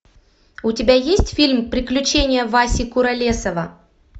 у тебя есть фильм приключения васи куролесова